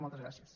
moltes gràcies